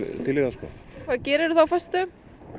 til í það sko hvað gerir þú þá á föstudögum